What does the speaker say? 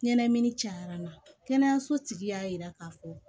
Ɲɛnɛmini cayara n na kɛnɛyaso tigi y'a yira k'a fɔ